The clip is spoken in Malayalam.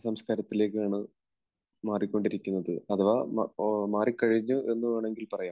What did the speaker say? സംസ്കാരത്തിലേക്കാണ് മാറിക്കൊണ്ടിരിക്കുന്നത്. അഥവാ മാറിക്കഴിഞ്ഞു എന്ന് വേണമെങ്കിൽ പറയാം.